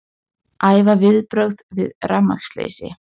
Æfa viðbrögð við rafmagnsleysi